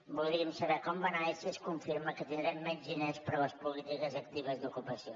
voldríem saber com va anar i si es confirma que tindrem menys diners per a les polítiques actives d’ocupació